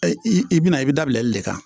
I bɛna i bɛ dabilɛ e de kan